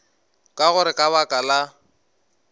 ka gore ka baka la